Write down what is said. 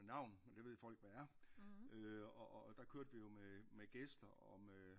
Med navn med det ved folk hvad er og og og der kørte vi jo med gæster og med